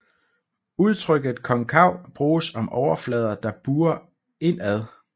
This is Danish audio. Udtrykket konkav bruges om overflader der buer indad